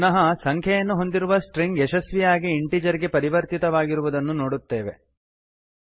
ನಾವು ಪುನಃ ಸಂಖ್ಯೆಯನ್ನು ಹೊಂದಿರುವ ಸ್ಟ್ರಿಂಗ್ ಯಶಸ್ವಿಯಾಗಿ ಇಂಟೀಜರ್ ಗೆ ಪರಿವರ್ತಿತವಾಗಿರುವುದನ್ನು ನೋಡುತ್ತೇವೆ